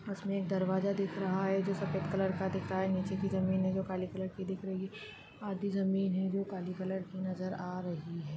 उसमें एक दरवाजा दिख रहा है जो सफेद कलर का दिख रहा है नीचे की जमीन है जो काले कलर की दिख रही आधी जमीन है जो काले कलर की नजर आ रही है।